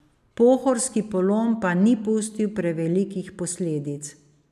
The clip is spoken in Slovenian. Pohorski polom pa ni pustil prevelikih posledic.